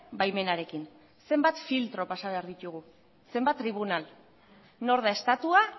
baimenarekin zenbat filtro pasa behar ditugu zenbat tribunal nor da estatua